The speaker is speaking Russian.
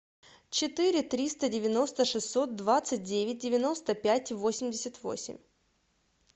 четыре триста девяносто шестьсот двадцать девять девяносто пять восемьдесят восемь